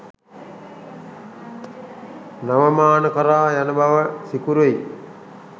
නව මාන කරා යන බව සිකුරුයි.